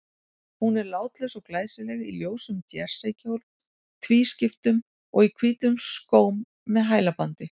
Hún er látlaus og glæsileg, í ljósum jerseykjól tvískiptum, og í hvítum skóm með hælbandi.